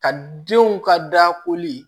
Ka denw ka dakoli